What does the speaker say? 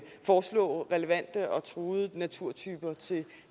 foreslå relevante og truede naturtyper til